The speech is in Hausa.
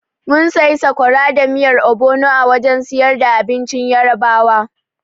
Mun sayi sakwara da miyar obono a wajen siyar da abincin Yarabawa.